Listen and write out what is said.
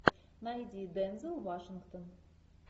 найди дензел вашингтон